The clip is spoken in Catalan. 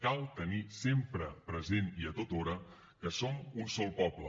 cal tenir sempre present i tothora que som un sol poble